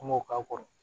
An m'o k'a kɔrɔ